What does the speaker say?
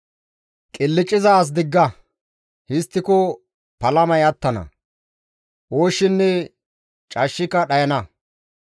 Qilcciza as digga; histtiko palamay attana; ooshshinne cashshika dhayana.